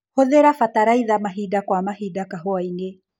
Hũthĩra bataraitha mahinda kwa mahinda kahũainĩ.